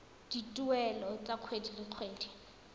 dituelo tsa kgwedi le kgwedi